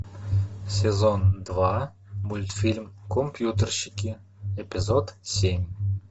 сезон два мультфильм компьютерщики эпизод семь